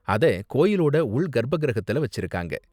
அத கோயிலோட உள் கர்ப்ப கிரகத்தில் வச்சிருக்காங்க.